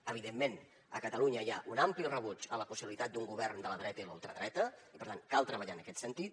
evidentment a catalunya hi ha un ampli rebuig a la possibilitat d’un govern de la dreta i la ultradreta i per tant cal treballar en aquest sentit